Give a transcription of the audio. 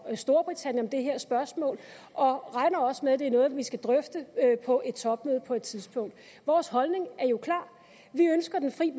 i storbritannien om det her spørgsmål og regner også med at det er noget vi skal drøfte på et topmøde på et tidspunkt vores holdning er jo klar vi ønsker den fri